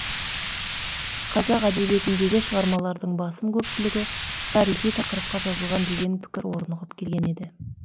қазақ әдебиетіндегі шығармалардың басым көпшілігі тарихи тақырыпқа жазылған деген пікір орнығып келген еді